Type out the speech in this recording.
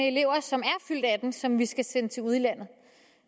elever som er fyldt atten som vi skal sende til udlandet